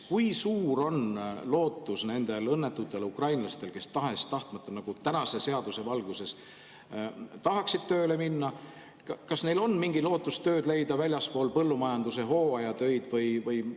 Kui suur on lootus nendel õnnetutel ukrainlastel, kes tahes-tahtmata tänase seaduse valguses tahaksid tööle minna, leida tööd väljaspool põllumajanduse hooajatöid?